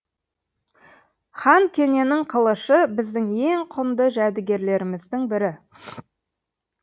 хан кененің қылышы біздің ең құнды жәдігерлеріміздің бірі